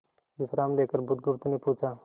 विश्राम लेकर बुधगुप्त ने पूछा